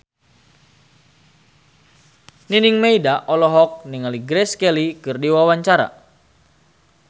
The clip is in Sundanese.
Nining Meida olohok ningali Grace Kelly keur diwawancara